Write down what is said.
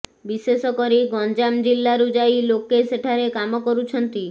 ବିଶେଷ କରି ଗଂଞ୍ଜାମ ଜିଲ୍ଲାରୁ ଯାଇ ଲୋକେ ସେଠାରେ କାମ କରୁଛନ୍ତି